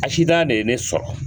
ne ye ne sɔrɔ